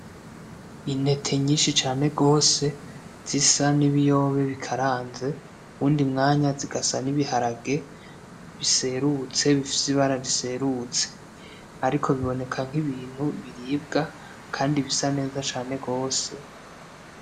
Intete nyinshi cane gose. zisa nibiyobe bikaranze uwundi mwanya zigasa n'ibiharage biserutse bifise ibara riserutse ariko biboneka nkibintu biribwa kandi bisa neza cane gose